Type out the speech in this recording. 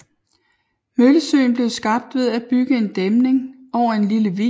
Møllesøen blev skabt ved at bygge en dæmning over en lille vig ved Sandbjerg